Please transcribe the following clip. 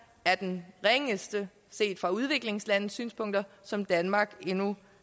er den ringeste set fra udviklingslandes synspunkter som danmark endnu